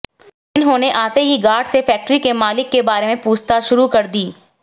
इन्होंने आते ही गार्ड से फैक्टरी के मालिक के बारे में पूछताछ शुरू कर दी